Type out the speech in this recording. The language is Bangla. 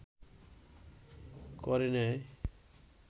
করে নেয়